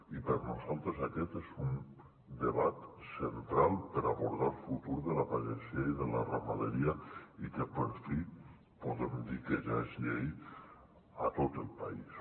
i per nosaltres aquest és un debat central per abordar el futur de la pagesia i de la ramaderia i que per fi podem dir que ja és llei a tot el país